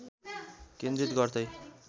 केन्द्रित गर्दै